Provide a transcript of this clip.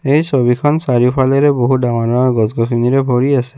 এই ছবিখন চাৰিওফালেৰে বহুত ডাঙৰ ডাঙৰ গছ গছৰে ভৰি আছে।